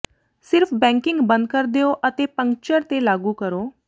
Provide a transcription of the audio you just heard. ਸਿਰਫ਼ ਬੈਕਿੰਗ ਬੰਦ ਕਰ ਦਿਓ ਅਤੇ ਪੰਕਚਰ ਤੇ ਲਾਗੂ ਕਰੋ